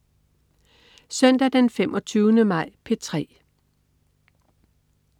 Søndag den 25. maj - P3: